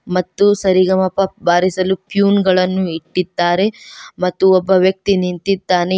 ಮತ್ತು ಸರಿಗಮಪ ಬಾರಿಸಲು ಟ್ಯೂನ್ ಗಳನ್ನು ಇಟ್ಟಿದ್ದಾರೆ ಮತ್ತು ಒಬ್ಬ ವ್ಯಕ್ತಿ ಇದ್ದಾನೆ.